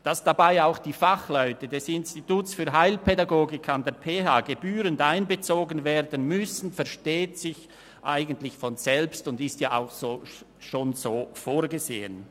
Dass dabei auch die Fachleute des Instituts für Heilpädagogik an der PHBern gebührend einbezogen werden müssen, versteht sich eigentlich von selbst und ist ja auch schon so vorgesehen.